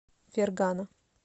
фергана